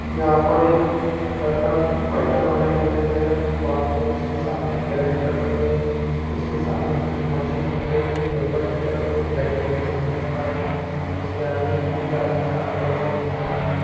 यहाँ पर एक लड़का बैठा खड़ा दिखाई दे रही है वहाँ पर उसके सामने एक कैरेट रखी गई है उसके सामने कुछ मशीन दिख रही है ऊपर की तरफ कुछ लाइट जलती हुई नजर आ रही है उसके आगे भी कुछ आदमी काम करते हुए नजर आ रहें है।